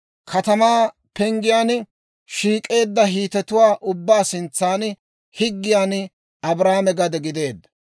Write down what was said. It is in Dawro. katamaa penggiyaan shiik'eedda Hiitetuwaa ubbaa sintsan higgiyaan Abrahaame gade gideedda.